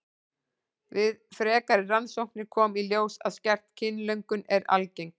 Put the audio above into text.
Við frekari rannsóknir kom í ljós að skert kynlöngun er algeng.